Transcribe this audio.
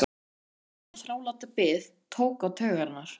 Þessi langa og þráláta bið tók á taugarnar.